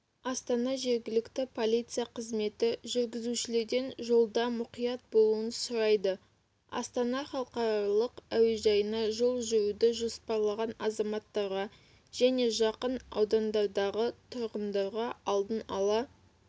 астана жергілікті полиция қызметі жүргізушілерден жолда мұқият болуын сұрайды астана халықаралық әуежайына жол жүруді жоспарлаған азаматтарға және жақын аудандардағы тұрғындарға алдын-ала